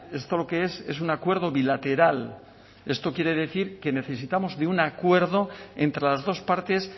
esto lo que es es un acuerdo bilateral esto quiere decir que necesitamos de un acuerdo entre las dos partes